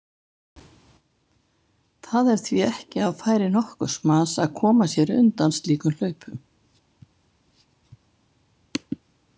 Það er því ekki á færi nokkurs manns að koma sér undan slíkum hlaupum.